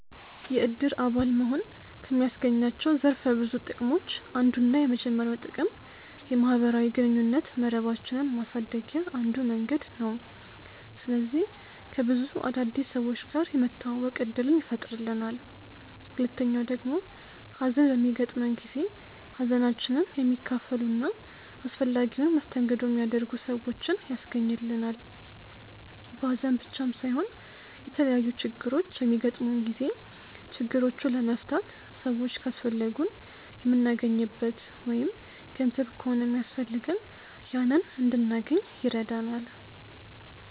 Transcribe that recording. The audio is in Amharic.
የእድር አባል መሆን ከሚያስገኛቸው ዘርፈ ብዙ ጥቅሞች አንዱና የመጀመሪያው ጥቅም የማህበራዊ ግንኙነት መረባችንን ማሳደግያ አንዱ መንገድ ነው። ስለዚህ ከብዙ አዳዲስ ሰዎች ጋር የመተዋወቅ እድልን ይፈጥርልናል። ሁለተኛው ደግሞ ሀዘን በሚገጥመን ጊዜ ሀዘናችንን የሚካፈሉ እና አስፈላጊውን መስተንግዶ የሚያደርጉ ሰዎችን ያስገኝልናል። በሀዘን ብቻም ሳይሆን የተለያዩ ችግሮች በሚገጥሙን ጊዜ ችግሮቹን ለመፍታት ሰዎች ካስፈለጉን የምናገኝበት ወይም ገንዘብ ከሆነ ሚያስፈልገን ያንን እንድናገኝ ይረዳናል።